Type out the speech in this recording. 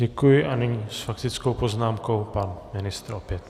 Děkuji a nyní s faktickou poznámkou pan ministr opět.